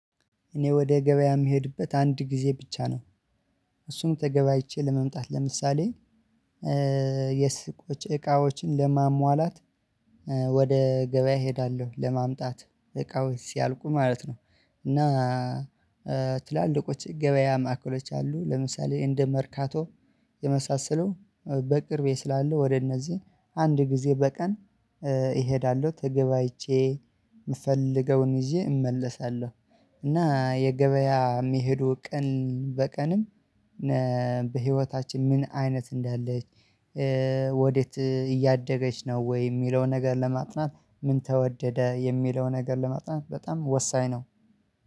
እኔ ወደ ገበያ የምሄድበት አንድ ጊዜ ብቻ ነው። እሱም ተገበያየቼ ለመምጣት ለምሳሌ የሱቆች እቃዎችን ለማሟላት። ወደ ገበያ እሄዳለሁ ለማምጣት እቃዎች ሲያልቁ ማለት ነው። እና ትላልቆች ገበያ ማዕከሎች አሉ ለምሳሌ እንደ መርካቶ የመሳሰሉ በቅርቤ ስላለ ወደ እነዚህ አንድ ጊዜ በቀን እሄዳለሁ ተገበያይቼ የምፈልገውን ይዤ እመለሳለሁ። እና የገበያ የሚሄዱ ቀን በቀንም በህይወታችን ምን አይነት እንዳለች ወዴት እያደገች ነው ወይ የሚለውን ነገር ለማጥናት? ምን ተወደደ የሚለውን ነገር ለማጥናት በጣም ወሳኝ ነው